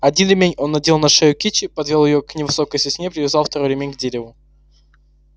один ремень он надел на шею кичи подвёл её к невысокой сосне и привязал второй ремень к дереву